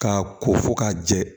K'a ko fo k'a jɛ